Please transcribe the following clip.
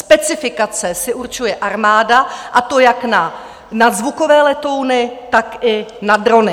Specifikace si určuje armáda, a to jak na nadzvukové letouny, tak i na drony.